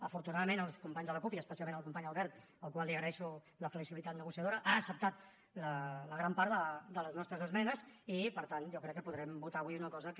afortunadament els companys de la cup i especialment el company albert al qual li agreixo la flexibilitat negociadora han acceptat la gran part de les nostres esmenes i per tant jo crec que podrem votar avui una cosa que